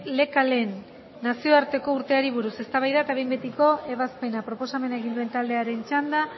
lekaleen nazioarteko urteari buruz eztabaida eta behin betiko ebazpena proposamena egin duen taldearen txanda